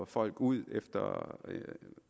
folk ud